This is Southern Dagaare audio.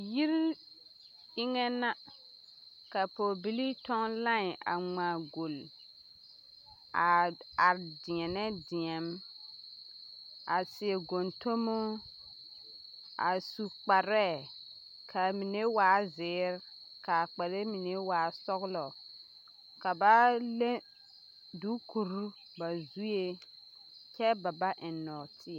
Yiri eŋɛ na ka pɔgebilii tɔŋ lãɛ a ŋmaa golli a are dēɛnɛ deɛm a seɛ gontomo a su kparɛɛ k'a mine waa zeere k'a kpare mine waa sɔgelɔ ka ba le duukuri ba zue kyɛ ba ba eŋ nɔɔteɛ.